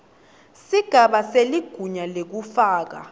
sigaba seligunya lekufaka